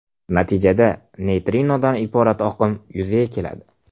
Natijada, neytrinodan iborat oqim yuzaga keladi.